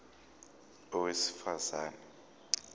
a owesifaz ane